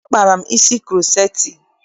Akpara m isi kuroceti.